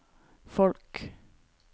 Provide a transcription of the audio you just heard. folk